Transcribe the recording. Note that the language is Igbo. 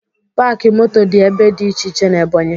Paakị moto dị ebe dị iche iche n'Ebọnyị